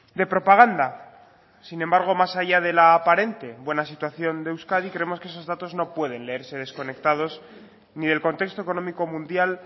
de propaganda sin embargo más allá de la aparente buena situación de euskadi creemos que esos datos no pueden leerse desconectados ni del contexto económico mundial